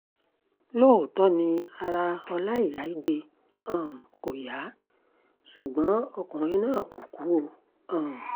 lóòótọ́ ni ara ọláìyá igbe um kò yá ṣùgbọ́n ọkùnrin náà kò kú o um